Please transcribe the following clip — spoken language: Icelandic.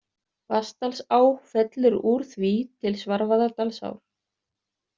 Vatnsdalsá fellur úr því til Svarfaðardalsár.